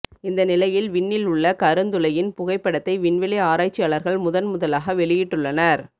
இந்த நிலையில் விண்ணில் உள்ள கருந்துளையின் புகைப்படத்தை விண்வெளி ஆராய்ச்சியாளர்கள் முதன்முதலாக வெளியிட்டுள்ளனர்